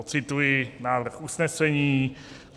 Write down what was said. Odcituji návrh usnesení: